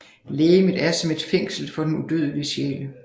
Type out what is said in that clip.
Legemet er som et fængsel for den udødelige sjæl